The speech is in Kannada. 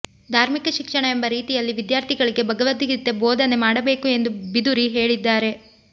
ಧಾರ್ಮಿಕ ಶಿಕ್ಷಣ ಎಂಬ ರೀತಿಯಲ್ಲಿ ವಿದ್ಯಾರ್ಥಿಗಳಿಗೆ ಭಗವದ್ಗೀತೆ ಬೋಧನೆ ಮಾಡಬೇಕು ಎಂದು ಬಿಧುರಿ ಹೇಳಿದ್ದಾರೆ